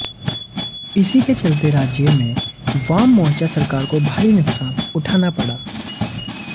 इसी के चलतेराज्य में वाम मोर्चा सरकार को भारी नुकसान उठाना पड़ा